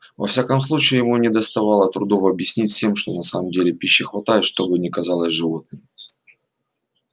во всяком случае ему не доставило трудов объяснить всем что на самом деле пищи хватает что бы ни казалось животным